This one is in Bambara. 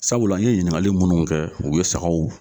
Sabula n ye ɲiningali munnu kɛ o ye sagaw